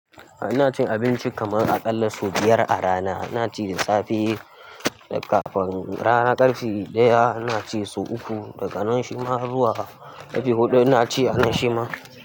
Ina cin abinci kamar a ƙalla sau biyar a rana. Ina ci da safe, da kafin rana ƙarfe ɗaya ina ci sau uku, daga nan shima zuwa. Ƙarfe hudu ina ci a nan shima.